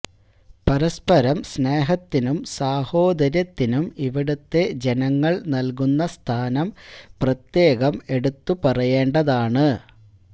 പരസ്പരം സ്നേഹത്തിനും സാഹോദര്യത്തിനും ഇവിടുത്തെ ജനങ്ങൾ നൽകുന്ന സ്ഥാനം പ്രത്യേകം എടുത്തു പറയേണ്ടതാണ്